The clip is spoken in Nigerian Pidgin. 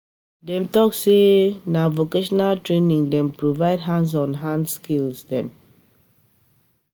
Dem talk sey na um vocational training dey um provide hands-on hands-on um skill dem.